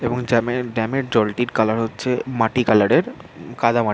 এবং জ্যাম -র ড্যাম -র জলটির কালার হচ্ছে মাটি কালার -এর উম কাদামাটি |